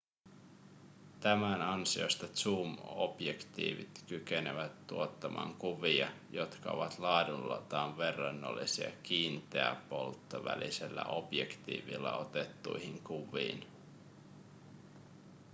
tämän ansiosta zoom-objektiivit kykenevät tuottamaan kuvia jotka ovat laadultaan verrannollisia kiinteäpolttovälisellä objektiivilla otettuihin kuviin